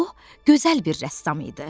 O gözəl bir rəssam idi.